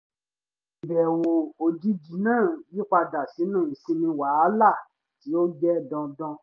ìbẹ̀wò òjijì náà yí padà sínú ìsinmi wàhálà tí ó jẹ́ dandan